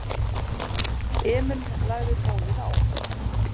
Emil lagði tólið á.